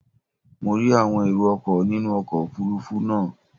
Mo rí àwọn erò ọkọ̀ nínú ọkọ̀ òfurufú náà.